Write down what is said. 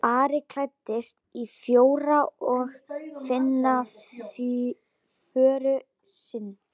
Ari klæddist og fór að finna föður sinn.